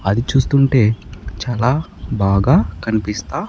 అది చూస్తుంటే చాలా బాగా కనిపిస్తా.